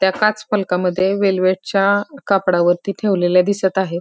त्या काच फलकामध्ये वेल्वेटच्या कापडावरती ठेवलेले दिसत आहे.